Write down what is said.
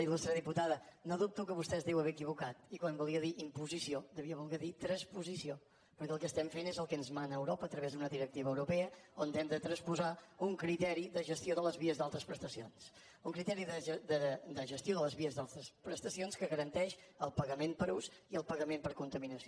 il·lustre diputada no dubto que vostè es deu haver equivocat i quan volia dir imposició devia voler dir transposició perquè el que estem fent és el que ens mana europa a través d’una directiva europea on hem de transposar un criteri de gestió de les vies d’altes prestacions un criteri de gestió de les vies d’altes prestacions que garanteix el pagament per ús i el pagament per contaminació